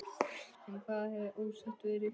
Um hvað hefur ósættið verið?